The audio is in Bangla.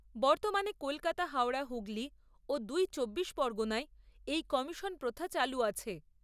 বর্তমানে কলকাতা হাওড়া হুগলি ও দুই চব্বিশ পরগনায় এই কমিশন প্রথা চালু আছে।